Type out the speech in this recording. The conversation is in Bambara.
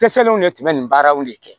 Tɛ fɛnw de tun bɛ nin baaraw de kɛ